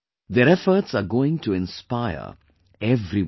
Their efforts are going to inspire everyone